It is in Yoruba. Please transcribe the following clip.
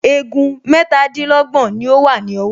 Egun mẹ́tàdínlọ́gbọ̀n ni ó wà ní ọwọ́